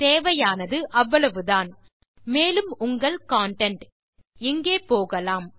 தேவையானது அவ்வளவுதான் மேலும் உங்கள் கன்டென்ட் இங்கே போகலாம்